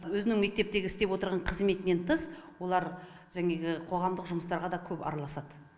өзінің мектептегі істеп отырған қызметінен тыс олар қоғамдық жұмыстарға да көп араласады